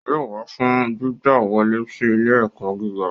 Yóò wá fún gbígba wọlé si ilé-ẹkọ gíga.